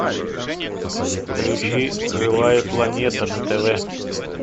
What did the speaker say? включи живая планета на тв